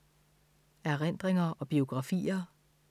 Erindringer og biografier